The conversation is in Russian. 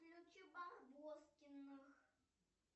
включи барбоскиных